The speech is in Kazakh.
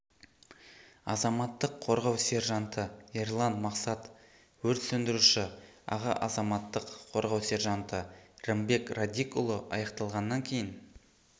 азаматтық қорғау сержанты ерлан мақсат өрт сөндіруші аға азаматтық қорғау сержанты рымбек радикұлы аяқталғаннан кейін